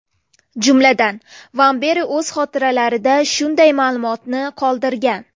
Jumladan, Vamberi o‘z xotiralarida shunday ma’lumotni qoldirgan.